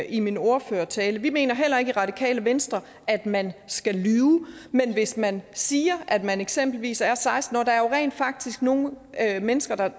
i min ordførertale vi mener heller ikke i radikale venstre at man skal lyve men hvis man siger at man eksempelvis er seksten år der jo rent faktisk nogle mennesker der